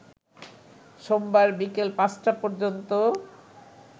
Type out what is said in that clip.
সোমবার বিকেল ৫টা পর্যন্ত